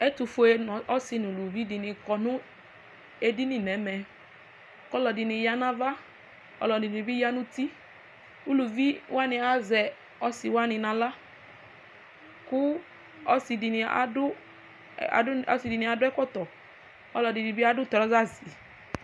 Ɛtʋfue asi nʋ ʋlʋvi kɔ nʋ edini nʋ ɛmɛ ɔlɔdini yanʋ ava ɔlɔdini bi yanʋ uti ʋlʋvi wani azɛ ɔsiwani nʋ aɣla kʋ ɔsidini adʋ ɛkɔtɔ ɔlɔdini bi adʋ trɔzasi